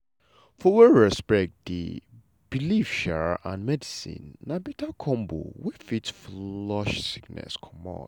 for where respect dey belief um and medicine na beta combo wey fit flush sickness comot.